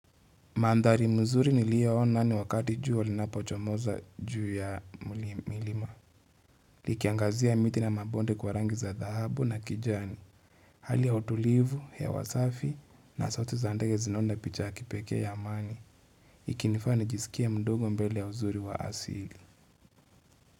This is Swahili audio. Mandhari mzuri niliyo ona ni wakati jua linapo chomoza juu ya milima Likiangazia miti na mabonde kwa rangi za dhahabu na kijani Hali ya utulivu, hewa safi, na sauti za ndege zinaunda picha ya kipekee ya amani Ikinifanya nijisikie mdogo mbele ya huzuri wa asili.